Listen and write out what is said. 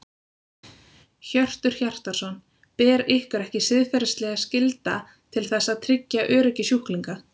Hjörtur Hjartarson: Ber ykkur ekki siðferðisleg skylda til þess að tryggja öryggi sjúklinga?